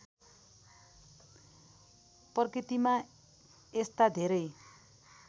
प्रकृतिमा यस्ता धेरै